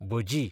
भजी